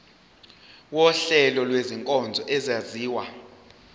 wuhlengo lwezinkonzo ezenziwa